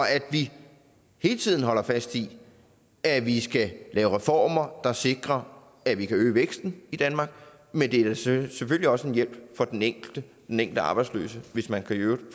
at vi hele tiden holder fast i at vi skal lave reformer der sikrer at vi kan øge væksten i danmark men det er selvfølgelig også en hjælp for den enkelte den enkelte arbejdsløse hvis man kan